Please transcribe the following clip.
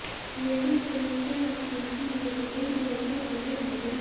लेकिन पुलिस के वकील की ये दलिल कोर्ट के पल्ले नहीं पड़ी